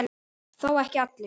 Þó ekki allir.